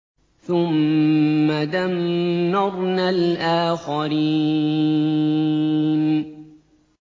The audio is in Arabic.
ثُمَّ دَمَّرْنَا الْآخَرِينَ